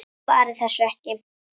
Svaraði þessu ekki.